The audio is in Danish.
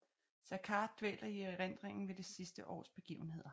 Saccard dvæler i erindringen ved det sidste års begivenheder